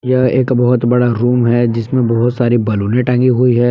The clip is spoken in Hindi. यह एक बहुत बड़ा रूम है जिसमें बहुत सारी बैलूने टाँगी हुई है।